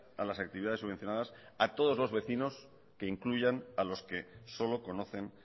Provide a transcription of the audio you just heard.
a las actividades subvencionadas a todos los vecinos que incluyan a los que solo conocen